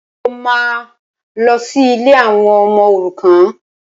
Mo máa lọ sí ilé àwọn ọmọ òrukàn